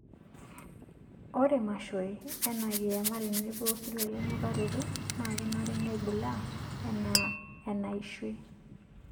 Ore mashoi anaa kiyama tenebo osirua lenukaroto naa kenare neibulaa anaa enaishui.